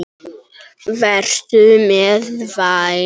Vertu mér vænn.